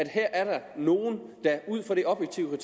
her er nogle der ud fra det objektive